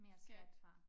Skat